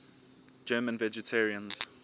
german vegetarians